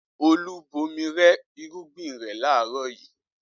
Olú bomi rẹ irúgbìn rẹ̀ láàárọ̀ yìí?